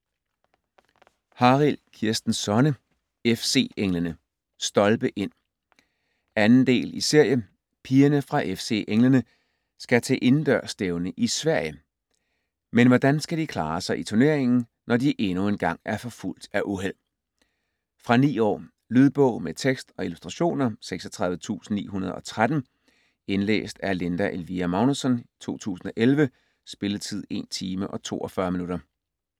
Harild, Kirsten Sonne: FC Englene: Stolpe ind! 2. del i serie. Pigerne fra FC Englene skal til indendørsstævne i Sverige, men hvordan skal de klare sig i turneringen, når de endnu en gang er forfulgt af uheld? Fra 9 år. Lydbog med tekst og illustrationer 36913 Indlæst af Linda Elvira Magnussen, 2011. Spilletid: 1 timer, 42 minutter.